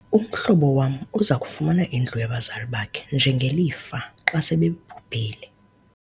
umhlobo wam uza kufumana indlu yabazali bakhe njengelifa xa sebebhubhile